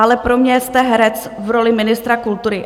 Ale pro mě jste herec v roli ministra kultury.